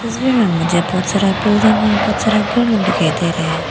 तस्वीर में मुझे बहुत सारा बिल्डिंग और बहुत सारा दिखाई दे रहे हैं।